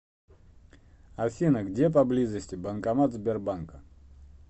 афина где поблизости банкомат сбербанка